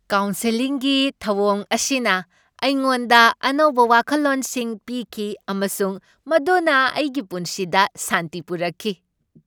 ꯀꯥꯎꯟꯁꯦꯂꯤꯡꯒꯤ ꯊꯧꯑꯣꯡ ꯑꯁꯤꯅ ꯑꯩꯉꯣꯟꯗ ꯑꯅꯧꯕ ꯋꯥꯈꯜꯂꯣꯟꯁꯤꯡ ꯄꯤꯈꯤ ꯑꯃꯁꯨꯡ ꯃꯗꯨꯅ ꯑꯩꯒꯤ ꯄꯨꯟꯁꯤꯗ ꯁꯥꯟꯇꯤ ꯄꯨꯔꯛꯈꯤ꯫